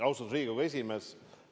Austatud Riigikogu esimees!